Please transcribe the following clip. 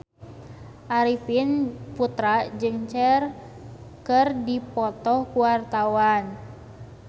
Arifin Putra jeung Cher keur dipoto ku wartawan